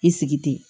I sigi ten